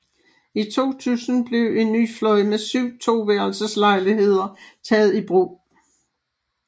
I 2000 blev en ny fløj med 7 toværelses lejligheder taget i brug